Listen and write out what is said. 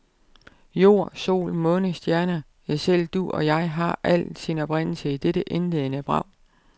Jord, sol, måne, stjerner, ja selv du og jeg, alt har sin oprindelse i dette indledende brag.